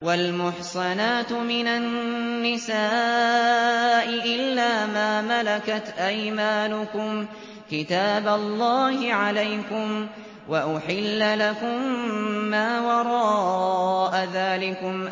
۞ وَالْمُحْصَنَاتُ مِنَ النِّسَاءِ إِلَّا مَا مَلَكَتْ أَيْمَانُكُمْ ۖ كِتَابَ اللَّهِ عَلَيْكُمْ ۚ وَأُحِلَّ لَكُم مَّا وَرَاءَ ذَٰلِكُمْ